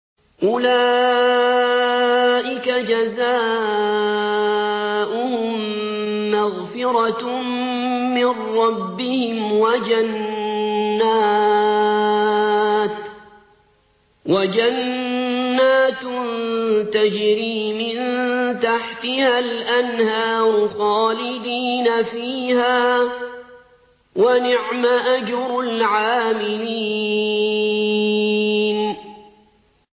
أُولَٰئِكَ جَزَاؤُهُم مَّغْفِرَةٌ مِّن رَّبِّهِمْ وَجَنَّاتٌ تَجْرِي مِن تَحْتِهَا الْأَنْهَارُ خَالِدِينَ فِيهَا ۚ وَنِعْمَ أَجْرُ الْعَامِلِينَ